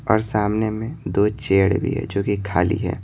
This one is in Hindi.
और सामने में दो चेयड़ भी है जो कि खाली है।